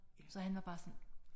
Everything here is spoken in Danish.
Så han var bare sådan